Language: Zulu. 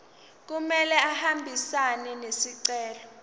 kumele ahambisane nesicelo